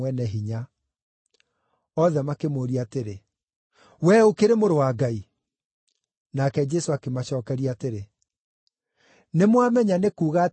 Othe makĩmũũria atĩrĩ, “Wee ũkĩrĩ Mũrũ wa Ngai?” Nake Jesũ akĩmacookeria atĩrĩ, “Nĩmwamenya nĩ kuuga atĩ nĩ niĩ we.”